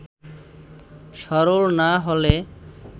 সরল না হলে